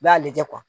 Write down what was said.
I b'a lajɛ